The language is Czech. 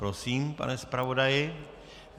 Prosím, pane zpravodaji.